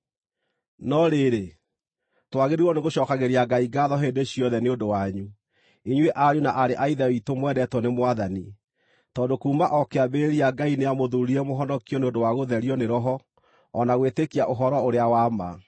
No rĩrĩ, twagĩrĩirwo nĩgũcookagĩria Ngai ngaatho hĩndĩ ciothe nĩ ũndũ wanyu, inyuĩ ariũ na aarĩ a Ithe witũ mwendetwo nĩ Mwathani, tondũ kuuma o kĩambĩrĩria Ngai nĩamũthuurire mũhonokio nĩ ũndũ wa gũtherio nĩ Roho o na gwĩtĩkia ũhoro-ũrĩa-wa-ma.